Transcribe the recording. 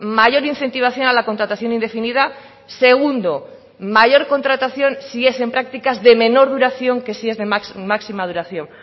mayor incentivación a la contratación indefinida segundo mayor contratación si es en prácticas de menor duración que si es de máxima duración